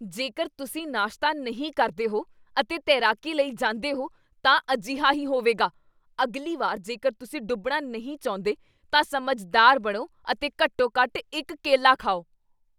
ਜੇਕਰ ਤੁਸੀਂ ਨਾਸ਼ਤਾ ਨਹੀਂ ਕਰਦੇ ਹੋ ਅਤੇ ਤੈਰਾਕੀ ਲਈ ਜਾਂਦੇ ਹੋ ਤਾਂ ਅਜਿਹਾ ਹੀ ਹੋਵੇਗਾ ਅਗਲੀ ਵਾਰ ਜੇਕਰ ਤੁਸੀਂ ਡੁੱਬਣਾ ਨਹੀਂ ਚਾਹੁੰਦੇ ਤਾਂ ਸਮਝਦਾਰ ਬਣੋ ਅਤੇ ਘੱਟੋ ਘੱਟ ਇਕ ਕੇਲਾ ਖਾਓ